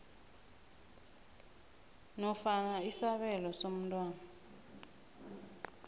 nofana isabelo somntwana